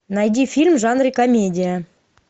найди фильм в жанре комедия